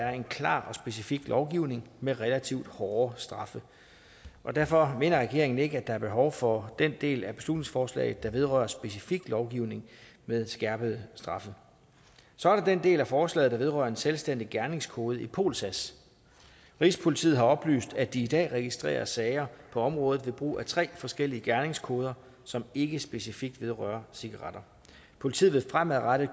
er en klar og specifik lovgivning med relativt hårde straffe derfor mener regeringen ikke at der er behov for den del af beslutningsforslaget der vedrører specifik lovgivning med skærpede straffe så er der den del af forslaget der vedrører en selvstændig gerningskode i polsas rigspolitiet har oplyst at de i dag registrerer sager på området ved brug af tre forskellige gerningskoder som ikke specifikt vedrører cigaretter politiet vil fremadrettet